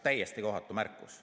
Täiesti kohatu märkus.